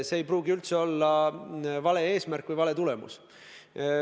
See ei pruugi üldse olla vale eesmärk või vale tulemus.